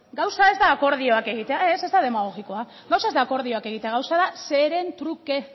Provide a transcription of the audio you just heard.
gauza ez da akordioak egitea ez ez da demagogikoa gauza ez da akordioak egitea gauza da zeren truke